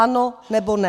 Ano, nebo ne?